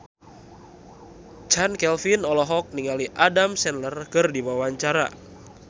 Chand Kelvin olohok ningali Adam Sandler keur diwawancara